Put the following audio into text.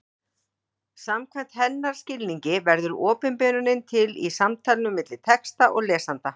Samkvæmt hennar skilningi verður opinberunin til í samtalinu milli texta og lesanda.